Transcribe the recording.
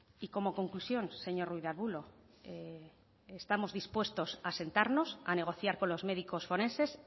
y como conclusión señor ruiz de arbulo estamos dispuestos a sentarnos a negociar con los médicos forenses